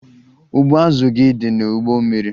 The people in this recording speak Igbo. Ụgbụ azụ gị dị n'ụgbọ mmiri.